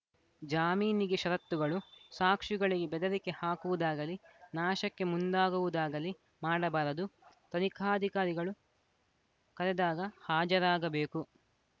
ಜಾಮೀನಿಗೆ ಷರತ್ತುಗಳು ಸಾಕ್ಷಿಗಳಿಗೆ ಬೆದರಿಕೆ ಹಾಕುವುದಾಗಲಿ ನಾಶಕ್ಕೆ ಮುಂದಾಗುವುದಾಗಲಿ ಮಾಡಬಾರದು ತನಿಖಾಧಿಕಾರಿಗಳು ಕರೆದಾಗ ಹಾಜರಾಗಬೇಕು